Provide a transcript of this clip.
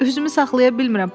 Üzümü saxlaya bilmirəm.